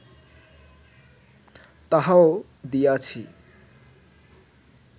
তাহাও দিয়াছি